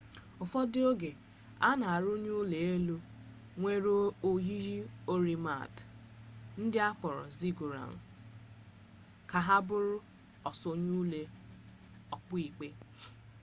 ụfọdụ oge a na arụnye ụlọ elu nwere oyiyi oiramid ndị akpọrọ ziggurats ka ha bụrụ osonye ụlọ okpukpe